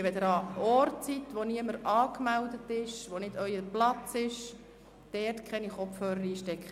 Wenn Sie an einem Platz sitzen, an dem niemand angemeldet und der nicht Ihr persönlicher Platz ist, stecken Sie dort bitte keine Kopfhörer ein.